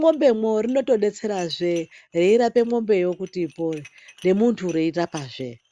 mwembemo inodetsera veirapa mombe yokuti ipone.